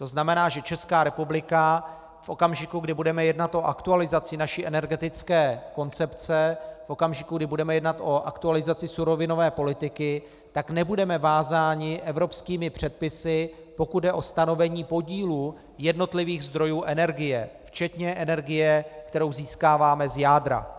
To znamená, že Česká republika v okamžiku, kdy budeme jednat o aktualizaci naší energetické koncepce, v okamžiku, kdy budeme jednat o aktualizaci surovinové politiky, tak nebudeme vázáni evropskými předpisy, pokud jde o stanovení podílu jednotlivých zdrojů energie, včetně energie, kterou získáváme z jádra.